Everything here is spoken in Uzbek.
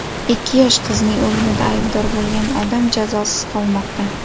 Ikki yosh qizning o‘limida aybdor bo‘lgan odam jazosiz qolmoqda.